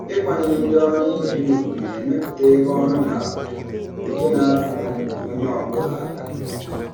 ịkwanyere ndị ọrụ ibe ya ùgwù na-emepụta ebe ọrụ na-akwado nke na-abara onye ọ bụla aka.